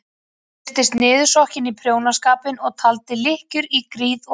Hún virtist niðursokkin í prjónaskapinn og taldi lykkjur í gríð og erg.